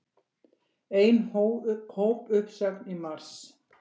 Ein hópuppsögn í mars